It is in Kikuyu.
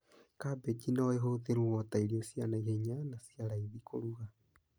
Kambĩji no ĩhũthĩrwo ta irio cia naihenya na cia raithĩ kũruga